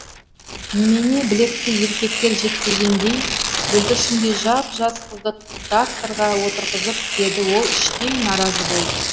немене білекті еркектер жетпегендей бүлдіршіндей жап жас қызды тракторға отырғызып деді ол іштей наразы болып